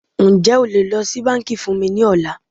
Ǹjẹ́ o lè lọ sí bánkì fún mí ní ọ̀la?